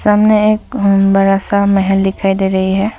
सामने एक बड़ा सा महल दिखाई दे रही है।